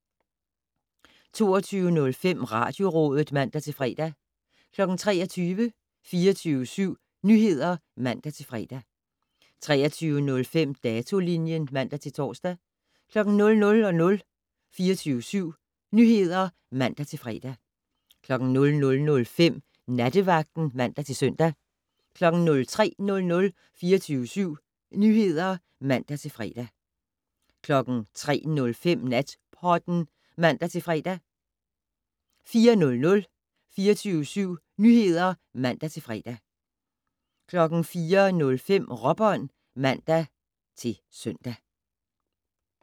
22:05: Radiorådet (man-fre) 23:00: 24syv Nyheder (man-fre) 23:05: Datolinjen (man-tor) 00:00: 24syv Nyheder (man-fre) 00:05: Nattevagten (man-søn) 03:00: 24syv Nyheder (man-fre) 03:05: Natpodden (man-fre) 04:00: 24syv Nyheder (man-fre) 04:05: Råbånd (man-søn)